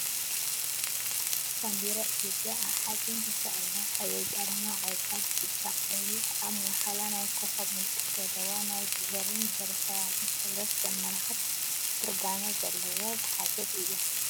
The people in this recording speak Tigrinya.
ባንዴራ ኢትዮጵያ ኣብ ሓፂን ተሰቂላ ሕብሪ ቀለማ ቆፃል፣ ቢጫ፣ ቀይሕ ኣብ ማእከላ ናይ ኮኮብ ምልክት ዘለዋ ናይ ቢሄር ቢሄረሰብ ሕብረት ዘመልክት ትርጋመ ዘለዎ ዝሓዘት እያ ።